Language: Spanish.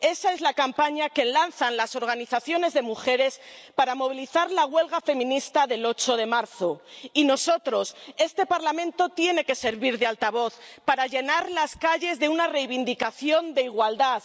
Esa es la campaña que lanzan las organizaciones de mujeres para movilizar la huelga feminista del 8 de marzo, y nosotros, este Parlamento, tiene que servir de altavoz para llenar las calles de una reivindicación de igualdad.